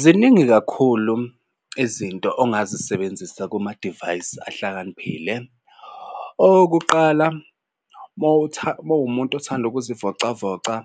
Ziningi kakhulu izinto ongazisebenzisa kumadivayisi ahlakaniphile okokuqala uma uwumuntu othanda ukuzivocavoca,